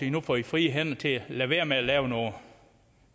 at nu får i frie hænder til at lade være med at lave noget